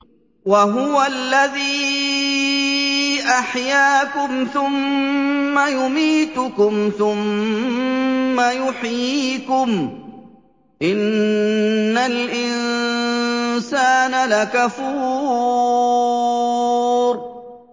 وَهُوَ الَّذِي أَحْيَاكُمْ ثُمَّ يُمِيتُكُمْ ثُمَّ يُحْيِيكُمْ ۗ إِنَّ الْإِنسَانَ لَكَفُورٌ